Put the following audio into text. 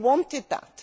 They wanted that.